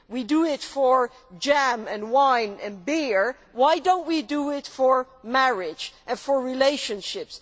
We do it for jam and wine and beer why do we not do it for marriage and for relationships?